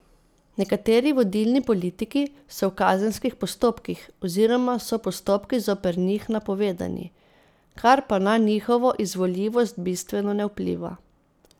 Nekateri vodilni politiki so v kazenskih postopkih oziroma so postopki zoper njih napovedani, kar pa na njihovo izvoljivost bistveno ne vpliva.